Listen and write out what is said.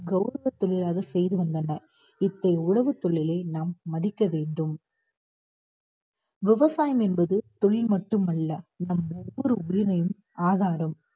கௌரவ தொழிலாக செய்து வந்தனர். உழவுத் தொழிலை நாம் மதிக்க வேண்டும். விவசாயம் என்பது தொழில் மட்டும் அல்ல நம் ஒவ்வொரு உரிமையின் ஆதாரம்